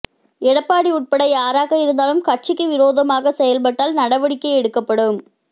எடப்பாடி உட்பட யாராக இருந்தாலும் கட்சிக்கு விரோதமாக செயல்பட்டால் நடவடிக்கை எடுக்கப்படும்